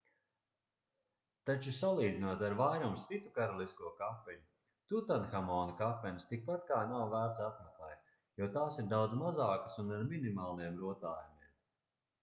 taču salīdzinot ar vairums citu karalisko kapeņu tutanhamona kapenes tikpat kā nav vērts apmeklēt jo tās ir daudz mazākas un ar minimāliem rotājumiem